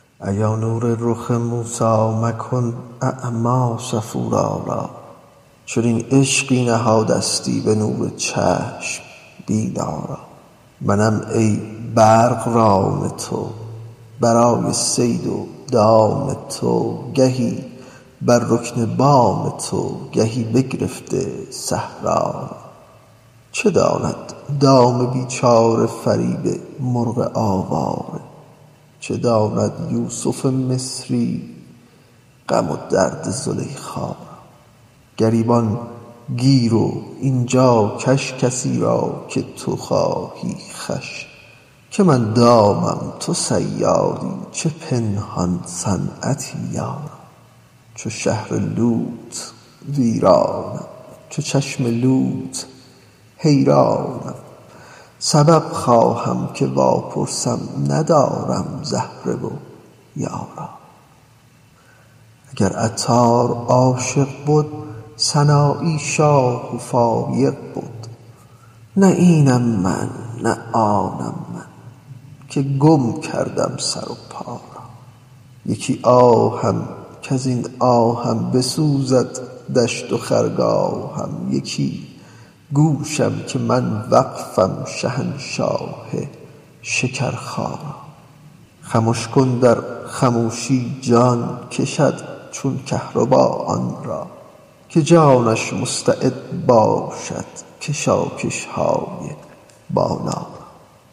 ایا نور رخ موسی مکن اعمی صفورا را چنین عشقی نهادستی به نورش چشم بینا را منم ای برق رام تو برای صید و دام تو گهی بر رکن بام تو گهی بگرفته صحرا را چه داند دام بیچاره فریب مرغ آواره چه داند یوسف مصری غم و درد زلیخا را گریبان گیر و این جا کش کسی را که تو خواهی خوش که من دامم تو صیادی چه پنهان صنعتی یارا چو شهر لوط ویرانم چو چشم لوط حیرانم سبب خواهم که واپرسم ندارم زهره و یارا اگر عطار عاشق بد سنایی شاه و فایق بد نه اینم من نه آنم من که گم کردم سر و پا را یکی آهم کز این آهم بسوزد دشت و خرگاهم یکی گوشم که من وقفم شهنشاه شکرخا را خمش کن در خموشی جان کشد چون کهربا آن را که جانش مستعد باشد کشاکش های بالا را